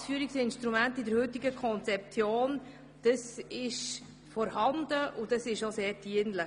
Das Führungsinstrument ist in der heutigen Konzeption sehr dienlich.